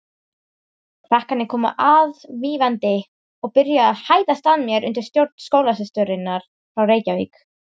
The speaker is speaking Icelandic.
Krakkarnir komu aðvífandi og byrjuðu að hæðast að mér undir stjórn skólasysturinnar frá Reykjavík.